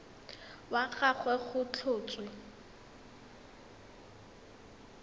wa ga gagwe go tlhotswe